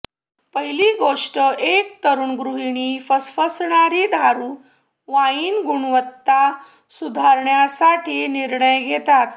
पहिली गोष्ट एक तरुण गृहिणी फसफसणारी दारु वाइन गुणवत्ता सुधारण्यासाठी निर्णय घेतला